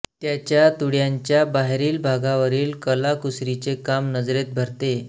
त्याच्या तुळयांच्या बाहेरील भागावरील कलाकुसरीचे काम नजरेत भरते